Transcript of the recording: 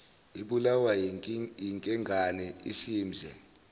ibulawa yinkengane isimze